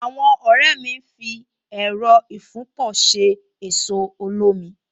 Àwọn ọ̀rẹ́ mi ń fi Ẹẹ̀rọ ìfúnpọ̀ ṣe ẹ̀so olómi